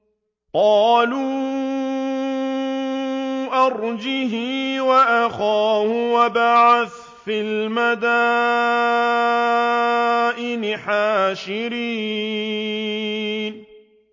قَالُوا أَرْجِهْ وَأَخَاهُ وَابْعَثْ فِي الْمَدَائِنِ حَاشِرِينَ